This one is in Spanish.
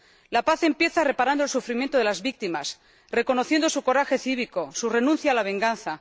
La paz empieza reparando el sufrimiento de las víctimas, reconociendo su coraje cívico, su renuncia a la venganza.